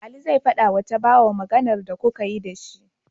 Ali zai fadawa tabawa Maganar da kukayi da shi